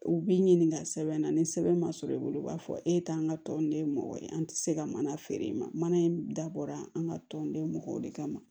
U b'i ɲininka sɛbɛn na ni sɛbɛn ma sɔrɔ i bolo u b'a fɔ e t'an ka tɔn nin ye mɔgɔ ye an tɛ se ka mana feere i ma mana in dabɔra an ka tɔnden mɔgɔ de kama